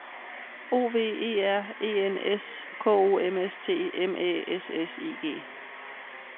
O V E R E N S K O M S T M Æ S S I G